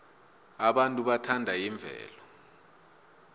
abantu bathanda imvelo